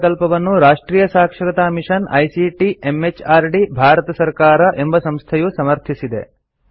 ಈ ಪ್ರಕಲ್ಪವನ್ನು ರಾಷ್ಟ್ರಿಯ ಸಾಕ್ಷರತಾ ಮಿಷನ್ ಐಸಿಟಿ ಎಂಎಚಆರ್ಡಿ ಭಾರತ ಸರ್ಕಾರ ಎಂಬ ಸಂಸ್ಥೆಯು ಸಮರ್ಥಿಸಿದೆ